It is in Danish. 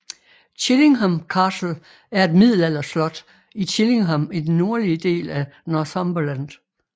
Chillingham Castle er et middelalderslot i Chillingham i den nordlige del af Northumberland